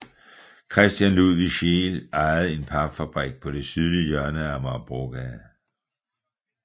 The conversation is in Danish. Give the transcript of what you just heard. Christian Ludvig Scheel ejede en papfabrik på det sydlige hjørne af Amagerbrogade